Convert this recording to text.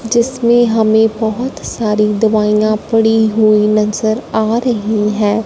जिसमें हमें बहोत सारी दवाइयां पड़ी हुई नजर आ रही हैं।